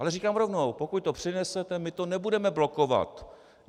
Ale říkám rovnou, pokud to přinesete, my to nebudeme blokovat.